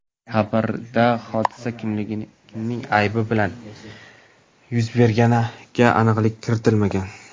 Xabarda hodisa kimning aybi bilan yuz berganiga aniqlik kiritilmagan.